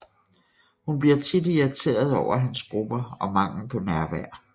Hun bliver tit irriteret over hans grupper og mangel på nærvær